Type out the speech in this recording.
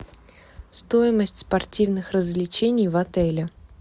стоимость спортивных развлечений в отеле